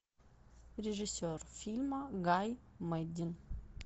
режиссер фильма гай мэддин